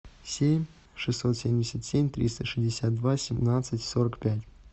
семь шестьсот семьдесят семь триста шестьдесят два семнадцать сорок пять